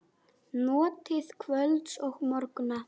Notið kvölds og morgna.